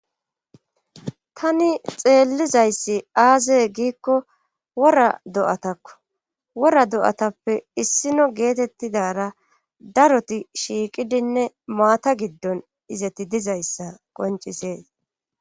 Tani xeellizayssi aazee giikko wora do7atakko wora do7atappe issino geetettidara daroti shiiqidinne maata giddon izeti dizayssa qoncisees.